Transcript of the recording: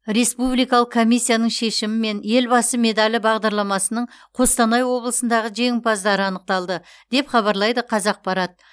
республикалық комиссияның шешімімен елбасы медалі бағдарламасының қостанай облысындағы жеңімпаздары анықталды деп хабарлайды қазақпарат